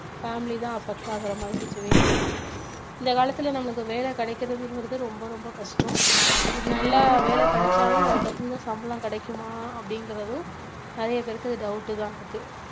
family தான் affect ஆகுற மாதிரி situation இருக்கு இந்த காலத்துல நம்மளுக்கு வேலை கிடைக்கறதுங்கறது ரொம்ப ரொம்ப கஷ்டம் அப்படி நல்லா வேலை கிடைச்சாலும் அதுக்கு தகுந்த சம்பளம் கிடைக்குமா அப்படிங்கறதும் நிறைய பேருக்கு இது doubt தான் இருக்கு